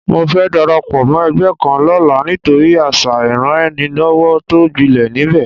Mo fẹ́ darapọ̀ mọ́ ẹgbẹ́ kan lọ́la nítorí àṣà ìranraẹnilọ́wọ́ tó gbilẹ̀ níbẹ̀